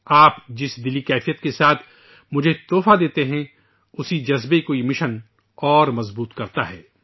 آپ جس اپنائیت کے جذبے سے مجھے تحفے دیتے ہیں، اسی جذبے کو یہ مہم اور مضبوط کرتی ہے